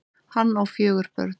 Hann á fjögur börn.